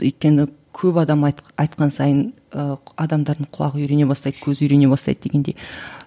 өйткені көп адам айтқан сайын ы адамдардың құлағы үйрене бастайды көзі үйрене бастайды дегендей